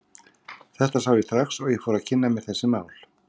Þetta sá ég strax og ég fór að kynna mér þessi mál.